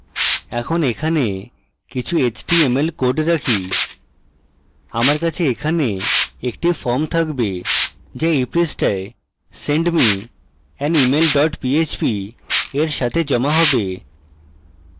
এখন এখানে কিছু html code রাখি আমার কাছে এখানে একটি form থাকবে so এই পৃষ্ঠায় send me an email dot php এর সাথে জমা have